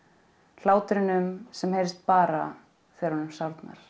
hlátrinum sem heyrist bara þegar honum sárnar